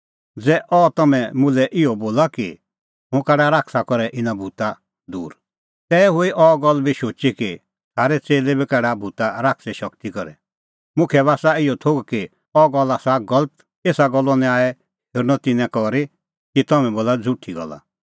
ज़ै अह तम्हैं मुल्है इहअ बोला कि हुंह काढा शैताना करै इना भूता दूर तै हुई अह गल्ल बी शुची कि थारै च़ेल्लै बी काढा भूत शैताने शगती करै मुखा बी आसा इहअ थोघ कि अह गल्ल आसा गलत एसा गल्लो न्याय हेरअ तिन्नैं करी कि तम्हैं बोला झ़ुठी गल्ला